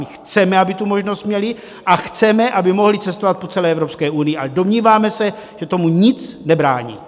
My chceme, aby tu možnost měli, a chceme, aby mohli cestovat po celé Evropské unii, ale domníváme se, že tomu nic nebrání.